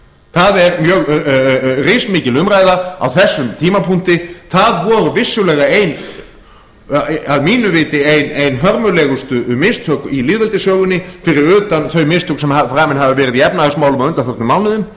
það er mjög rismikil umræða á þessum tímapunkti það voru vissulega að mínu viti ein hörmulegustu mistök í lýðveldissögunni fyrir utan þau mistök sem framin hafa verið í efnahagsmálum á undanförnum mánuðum